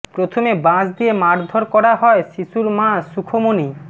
প্রথমে বাঁশ দিয়ে মারধর করা হয় শিশুর মা সুখমনি